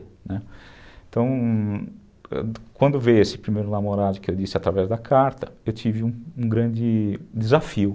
Né, então, quando veio esse primeiro namorado que eu disse através da carta, eu tive um grande desafio.